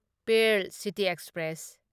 pearl city express